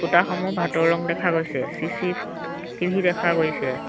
ফুটাসমূহ ভাটৌ ৰং দেখা গৈছে চি_চি টি_ভি দেখা গৈছে।